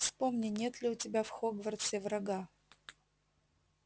вспомни нет ли у тебя в хогвартсе врага